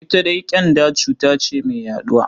Ita dai ƙyanda cuta ce mai yaɗuwa.